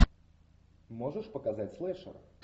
можешь показать слэшер